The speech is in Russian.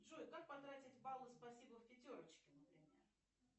джой как потратить баллы спасибо в пятерочке например